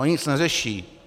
Ony nic neřeší.